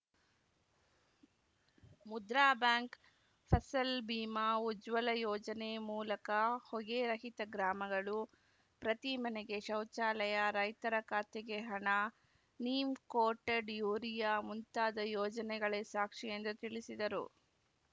Mudra bank Fasal Bima Ujjwala ಯೋಜನೆ ಮೂಲಕ ಹೊಗೆ ರಹಿತ ಗ್ರಾಮಗಳು ಪ್ರತಿ ಮನೆಗೆ ಶೌಚಾಲಯ ರೈತರ ಖಾತೆಗೆ ಹಣ ನೀಮ್‌ ಕೋಟೆಡ್‌ ಯೂರಿಯಾ ಮುಂತಾದ ಯೋಜನೆಗಳೇ ಸಾಕ್ಷಿ ಎಂದು ತಿಳಿಸಿದರು